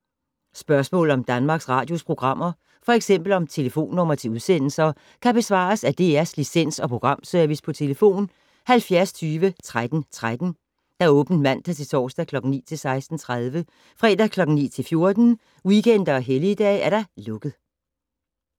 Spørgsmål om Danmarks Radios programmer, f.eks. om telefonnumre til udsendelser, kan besvares af DR Licens- og Programservice: tlf. 70 20 13 13, åbent mandag-torsdag 9.00-16.30, fredag 9.00-14.00, weekender og helligdage: lukket.